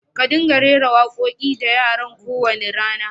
Ƙa dinga rera wa ƙoki da yaran ƙo wani rana!